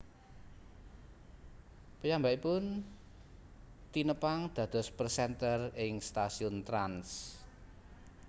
Piyambakipun tinepang dados presenter ing stasiun Trans